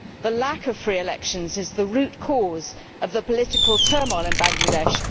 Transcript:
The lack of free elections is the root cause of the political turmoil in Bangladesh.